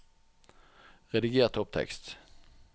Rediger topptekst